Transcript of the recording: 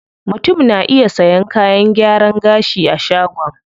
Mutum na iya sayan kayan gyaran gashi a shagon.